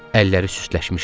Əlləri süstləşmişdi.